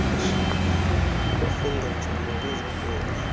ufundo nzulo ngezobomi